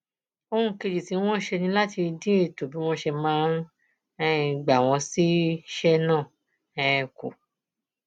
ohun kejì tí wọn ṣe ni láti dín ètò bí wọn ṣe máa um gbà wọn síṣẹ náà um kù